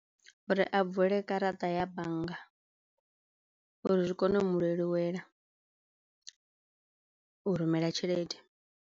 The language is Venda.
Uri a vule garaṱa ya bannga uri zwi kone u mu leluwela u rumela tshelede.